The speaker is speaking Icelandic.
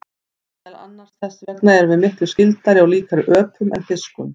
Meðal annars þess vegna erum við miklu skyldari og líkari öpum en fiskum.